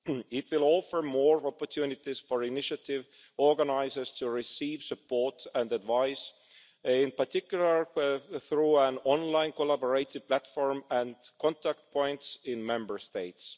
It will offer more opportunities for initiative organisers to receive support and advice, in particular, through an online collaborative platform and contact points in Member States.